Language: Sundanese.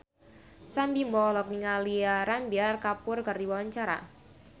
Sam Bimbo olohok ningali Ranbir Kapoor keur diwawancara